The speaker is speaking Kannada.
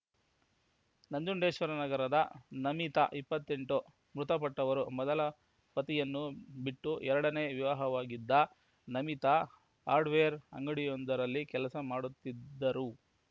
ನಂಜುಂಡೇಶ್ವರ ನಗರದ ನಮಿತಾ ಇಪ್ಪತ್ತೆಂಟು ಮೃತಪಟ್ಟವರು ಮೊದಲ ಪತಿಯನ್ನು ಬಿಟ್ಟು ಎರಡನೇ ವಿವಾಹವಾಗಿದ್ದ ನಮಿತಾ ಹಾರ್ಡ್‌ವೇರ್ ಅಂಗಡಿಯೊಂದರಲ್ಲಿ ಕೆಲಸ ಮಾಡುತ್ತಿದ್ದರು